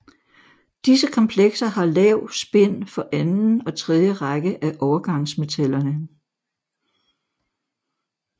Disse komplekser har lav spin for anden og tredje række af overgansmetallerne